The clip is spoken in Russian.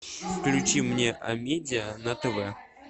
включи мне амедиа на тв